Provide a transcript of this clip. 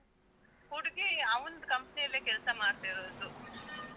ಹುಡ್ಗಿ ಅವ್ನ್ದುcompany ಅಲ್ಲೇ ಕೆಲ್ಸ ಮಾಡ್ತಿರೋದು. .